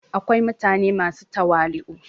akwai mutane masu tawali'u